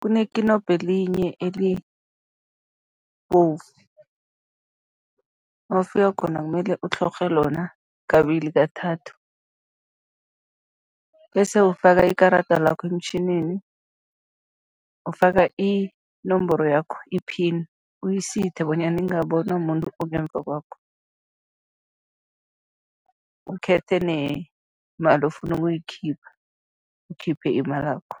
kunekinobho elinye elibovu, mawufika khona kumele utlhorhe lona kabili, kathathu bese ufaka ikarada lakho emtjhinini, ufaka inomboro yakho, i-pin, uyisithe bona ingabonwa muntu ongemva kwakho, ukhethe nemali ofuna ukuyikhipha, ukhiphe imalakho.